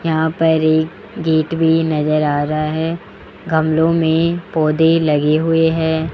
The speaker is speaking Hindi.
यहां पर एक गेट भी नजर आ रहा है गमलों में पौधे लगे हुए हैं।